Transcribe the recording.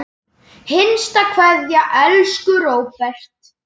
HINSTA KVEÐJA Elsku Róbert.